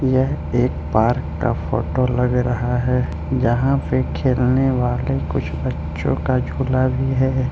यह एक पार्क का फोटो लग रहा है जहां पे खेलने वाले कुछ बच्चों का झूला भी है।